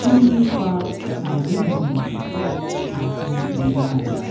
kí ló ń fa àìrímiọkàn àti ìnira àyà